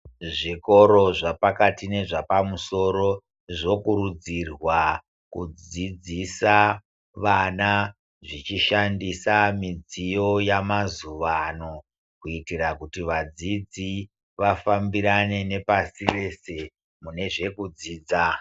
Zvikoro zvapakati nezvepamusoro zvokurudzirwa kudzidzisa vana zvichishandisa midziyo yamazuwano kuitira kuti vadzidzi vafambirane ne pasirese munezve kudzidza.